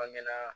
Bange na